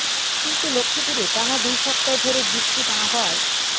কিন্তু লক্ষ্মীপুরে টানা দুই সপ্তাহ ধরে বৃষ্টি না হওয়ায়